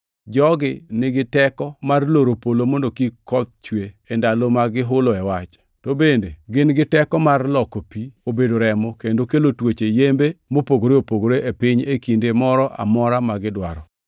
Jogi nigi teko mar loro polo mondo koth kik chue e ndalo ma gihuloe wach. To bende gin gi teko mar loko pi obed remo kendo kelo tuoche yembe mopogore opogore e piny e kinde mora amora magidwaro.